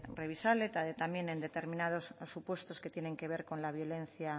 revisable también en determinados supuestos que tienen que ver con la violencia